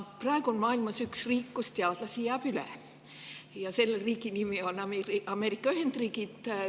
Praegu on maailmas üks riik, kus teadlasi jääb üle, ja selle riigi nimi on Ameerika Ühendriigid.